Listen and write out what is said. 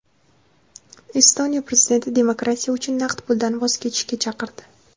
Estoniya prezidenti demokratiya uchun naqd puldan voz kechishga chaqirdi.